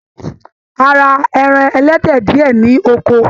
A ra ẹran ẹlẹdẹ diẹ ní oko.